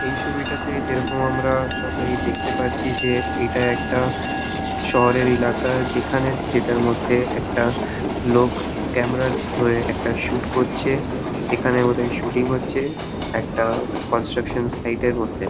এই ছবিটাতে যেইরকম আমরা সবাই দেখতে পাচ্ছি যে এইটা একটা শহরের এলাকা যেখানে যেটার মধ্যে একটা লোক ক্যামেরা ধরে একটা শুট করছে এখানে বোধহয় শুটিং হচ্ছে একটা ক্রন্সট্রাকশন সাইড -এর মধ্যে ।